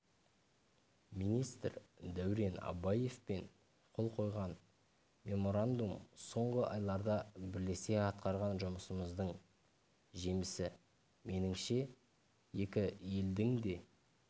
министр дәурен абаевпен қол қойған меморандум соңғы айларда бірлесе атқарған жұмысымыздың жемісі меніңше екі елдің де